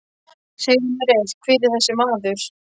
Segðu mér eitt, hver er þessi maður?